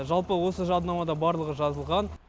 жалпы осы жаднамада барлығы жазылған